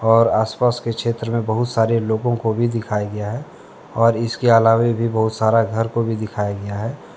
और आस पास के क्षेत्र में बहुत सारे लोगों को भी दिखाया गया है और इसके अलावे भी बहुत सारा घर को भी दिखाया गया है।